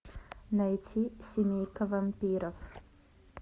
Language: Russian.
найти семейка вампиров